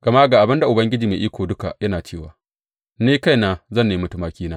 Gama ga abin da Ubangiji Mai Iko Duka yana cewa ni kaina zan nemi tumakina.